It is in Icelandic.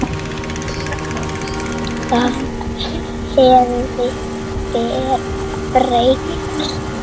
Það hafði breyst.